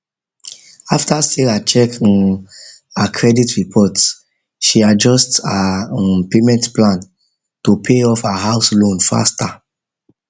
after sarah check um her credit report she adjust her um payment plan to pay off her house loan faster